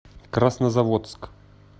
краснозаводск